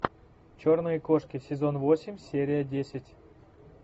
черные кошки сезон восемь серия десять